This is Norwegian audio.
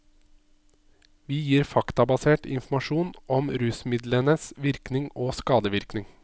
Vi gir faktabasert informasjon om rusmidlenes virkning og skadevirkning.